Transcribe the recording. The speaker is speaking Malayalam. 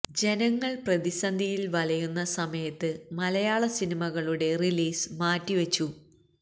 ജനങ്ങൾ പ്രതിസന്ധിയിൽ വലയുന്ന സമയത്ത് മലയാള സിനിമകളുടെ റിലീസ് മാറ്റി വച്ചു